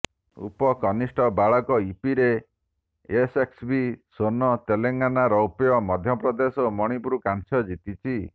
ଉପକନିଷ୍ଠ ବାଳକ ଇପିରେ ଏସ୍ଏସ୍ସିବି ସ୍ୱର୍ଣ୍ଣ ତେଲେଙ୍ଗାନା ରୌପ୍ୟ ମଧ୍ୟପ୍ରଦେଶ ଓ ମଣିପୁର କାଂସ୍ୟ ଜିତିଛି